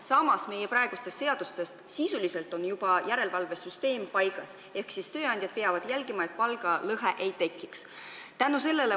Samas on praegustes seadustes järelevalvesüsteem juba sisuliselt paigas ehk tööandjad peavad jälgima, et palgalõhet ei tekiks.